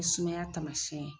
I sumaya taamasiyɛn ye